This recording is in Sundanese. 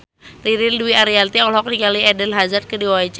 Ririn Dwi Ariyanti olohok ningali Eden Hazard keur diwawancara